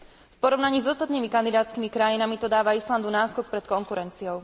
V porovnaní s ostatnými kandidátskymi krajinami to dáva Islandu náskok pred konkurenciou.